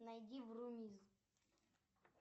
найди врумиз